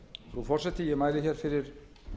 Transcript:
frú forseti ég mæli hér fyrir